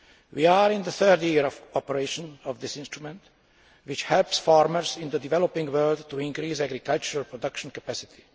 We are in the third year of operation of this instrument which helps farmers in the developing world to increase agricultural production capacity.